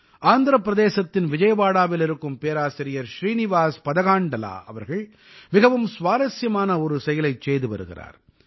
ஆந்திரப் பிரதேசத்தின் விஜயவாடாவில் இருக்கும் பேராசிரியர் ஸ்ரீநிவாஸ் பதகாண்டலா அவர்கள் மிகவும் சுவாரசியமான ஒரு செயலைச் செய்து வருகிறார்